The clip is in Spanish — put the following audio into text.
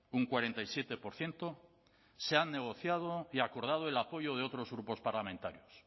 un cuarenta y siete por ciento se han negociado y acordado el apoyo de otros grupos parlamentarios